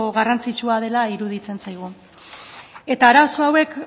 garrantzitsua dela iruditzen zaigu eta arazo hauek